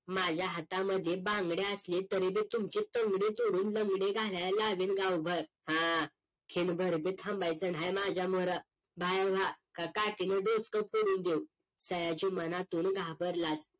माझ्या हातामधीं बांगड्या असल्या तरी बी तुमची तंगडी तोडून लंगडी घालाय लावीन गावभर हा क्षणभर बी थांबायचं नाय माझ्या म्होरं बाहेर व्हा का काठीनं डोस्क फोडून देऊ सयाजी मनातून घाबरला